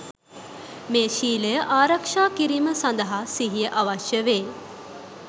මේ ශීලය ආරක්‍ෂා කිරීම සඳහා සිහිය අවශ්‍ය වේ.